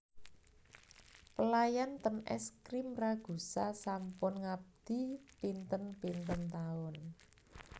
Pelayan ten Es Krim Ragusa sampun ngabdi pinten pinten taun